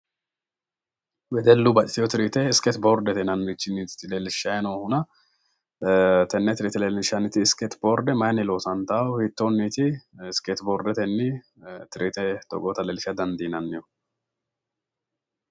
wedellu baxxitino tiriite iskeesi boordete yinannite leellishshanni noohuna tenne triite leellinshanihu mayiinniti iskeeti boorde mayiini loosantanno hiittoonniiti iskeeti triite togoota loosa dandiinannihu?